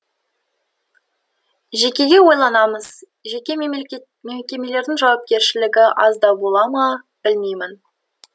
жеке ойланамыз жеке мекемелердің жауапкершілігі аздау бола ма білмеймін